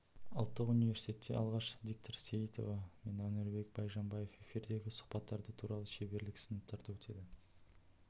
ұлттық университетте алғаш диктор сейтова мен әнуарбек байжанбаев эфирдегі сұхаббаттары туралы шеберлік-сыныптары өтеді